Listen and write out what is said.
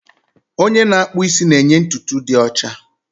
Onye na-akpụ isi na-enye ntutu dị ọcha